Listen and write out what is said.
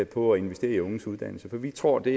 på at investere i unges uddannelse for vi tror det